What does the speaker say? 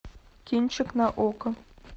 кинчик на окко